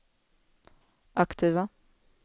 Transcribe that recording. aktiva